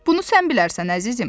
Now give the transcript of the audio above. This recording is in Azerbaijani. Bunu sən bilərsən əzizim.